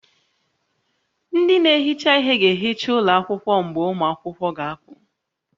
Ndị na-ehicha ihe ga-ehicha ụlọ akwụkwọ mgbe ụmụ akwụkwọ ga-apụ